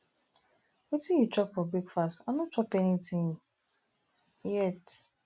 wetin you chop for breakfast i no chop anything um yet